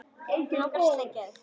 Mig langar að sleikja þig.